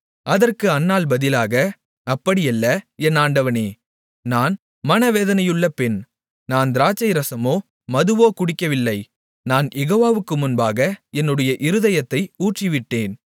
அதற்கு அன்னாள் பதிலாக அப்படியல்ல என் ஆண்டவனே நான் மனவேதனையுள்ள பெண் நான் திராட்சை ரசமோ மதுவோ குடிக்கவில்லை நான் யெகோவாவுக்கு முன்பாக என்னுடைய இருதயத்தை ஊற்றிவிட்டேன்